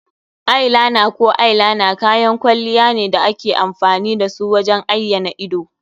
Eye liner ko eyeliner kayan kwalliya ne da ake amfani da su wajen ayyana idanu.